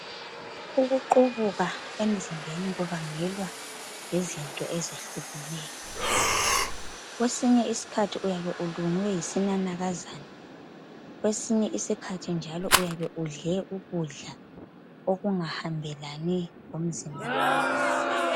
Ukuqubuka emzimbeni kubangelwa yizinto ezehlukeneyo. Kwesinye isikhathi uyabe ulunywe yisinanakazana, kwesinye isikhathi uyabe udle ukudla okungahambelani lomzimba wakho.